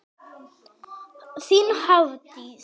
Þín Hafdís.